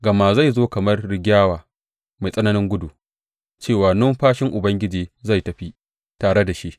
Gama zai zo kamar rigyawa mai tsananin gudu cewa numfashin Ubangiji zai tafi tare da shi.